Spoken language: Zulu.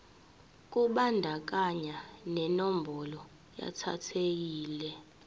kubandakanya nenombolo yetayitela